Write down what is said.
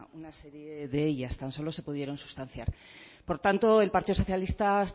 una serie de ellas tan solo se pudieron sustanciar por tanto el partido socialista